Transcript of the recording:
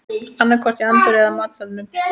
Annaðhvort í anddyrinu eða matsalnum